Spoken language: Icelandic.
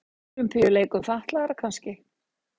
Ólympíuleikum fatlaðra kannski.